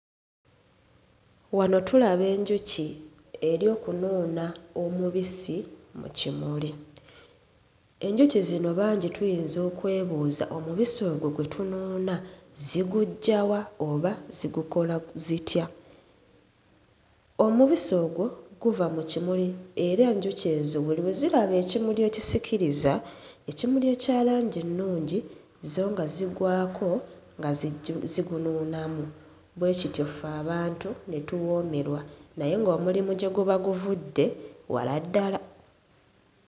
Wano tulaba enjuki eri okunuuna omubisi mu kimuli. Enjuki zino bangi tuyinza okwebuuza omubisi ogwo gwe tunuuna ziguggya wa oba zigukola zitya? Omubisi ogwo guva mu kimuli era enjuki ezo buli lwe ziraba ekimuli ekisikiriza, ekimuli ekya langi ennungi zo nga zigwako nga zijju... nga zigunuunamu, bwe kityo ffe abantu ne tuwoomerwa naye ng'omulimu gye guba guvudde, wala ddala.